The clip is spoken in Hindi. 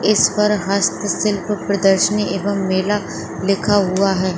इस पर है हस्त सिल्क पर्दासिनी अवांग मेला लिखा हुआ है।